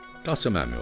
Qasım Əmi oğlu!